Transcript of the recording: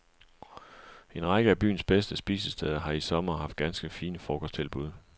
En række af byens bedste spisesteder har i sommer haft ganske fine frokosttilbud.